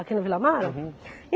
Aqui na Vila Mara?